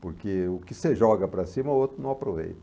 Porque o que você joga para cima, o outro não aproveita.